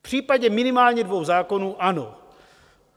V případě minimálně dvou zákonů ano.